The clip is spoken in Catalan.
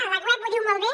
a la web ho diu molt bé